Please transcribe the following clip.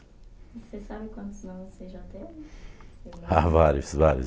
Você sabe quantos nomes você já teve? Há, vários, vários.